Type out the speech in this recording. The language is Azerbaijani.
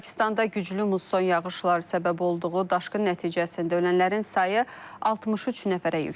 Pakistanda güclü muson yağışları səbəb olduğu daşqın nəticəsində ölənlərin sayı 63 nəfərə yüksəlib.